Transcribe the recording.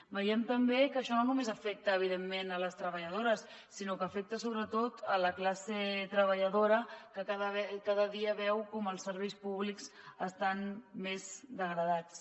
veiem també que això no només afecta evidentment les treballadores sinó que afecta sobretot la classe treballadora que cada dia veu com els serveis públics estan més degradats